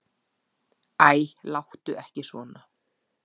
Æ, láttu ekki svona.